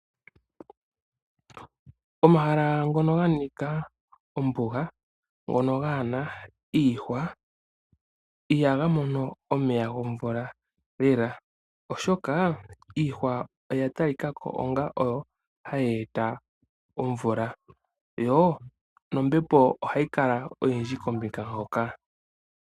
Omahala ngoka ga nika ombuga ano ngoka gaa na iihwa ihaga mono omeya gomvula lela oshoka iihwa oya ta likako onga oyo ha yeeta omvula yo nombepo ohayi kala oyindhi kombinga hoka.